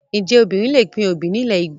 Ǹjẹ́ obìnrin lè pín obì nílẹ̀ Ígbò?